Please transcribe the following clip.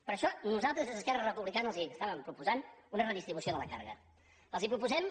per això nosaltres des d’esquerra republicana els estàvem proposant una redistribució de la càrrega els proposem